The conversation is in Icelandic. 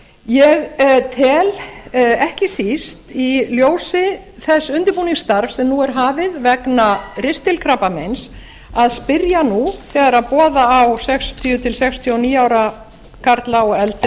ég tel ekki síst í ljósi þess undirbúningsstarfs sem nú er hafið vegna ristilkrabbameins að spyrja nú þegar boða á sextíu til sextíu og níu ára karla og eldri í